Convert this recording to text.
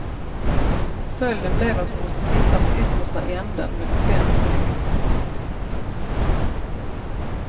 Följden blev att hon måste sitta på yttersta änden med spänd rygg.